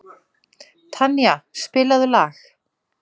Tanía, spilaðu lag.